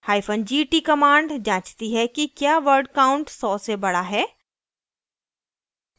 hyphen gt command जाँचती है कि क्या word count सौ से बड़ा है